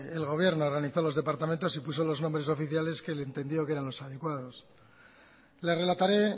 el gobierno realizó los departamentos y puso los nombres oficiales que él entendió que eran los adecuados le relataré